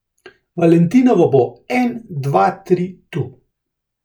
Valentinovo bo en, dva tri tu!